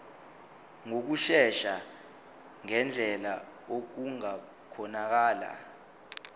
ngokushesha ngendlela okungakhonakala